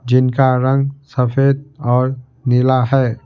जिनका रंग सफेद और नीला है।